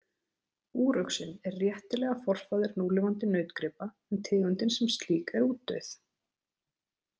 Úruxinn er réttilega forfaðir núlifandi nautgripa en tegundin sem slík er útdauð.